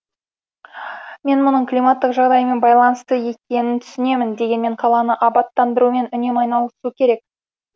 мен мұның климаттық жағдаймен байланысты екенін түсінемін дегенмен қаланы абаттандырумен үнемі айналысу керек